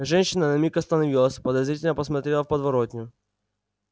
женщина на миг остановилась подозрительно посмотрела в подворотню